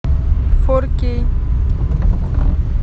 фор кей